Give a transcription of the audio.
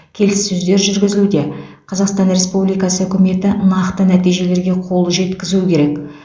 келіссөздер жүргізілуде қазақстан республикасы үкіметі нақты нәтижелерге қол жеткізуі керек